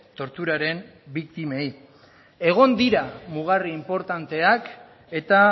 torturaren biktimei egon dira mugarri inportanteak eta